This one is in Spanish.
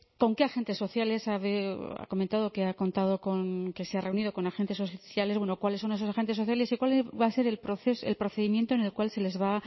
con qué agentes sociales ha comentado que ha contado con que se ha reunido con agentes sociales bueno cuáles son esos agentes sociales y cuál va a ser el procedimiento en el cual se les va